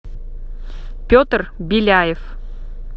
петр беляев